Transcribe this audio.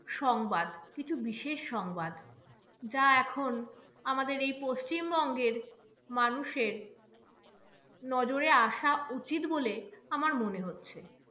সংবাদ, কিছু বিশেষ সংবাদ, যা এখন আমাদের এই পশ্চিমবঙ্গের মানুষের নজরে আসা উচিত বলে আমার মনে হচ্ছে।